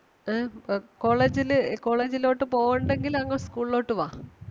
ഏ അപ്പോ college ല് college ലോട്ട് പോവണ്ടെങ്കിൽ അങ്ങ് school ലോട്ട് വാ.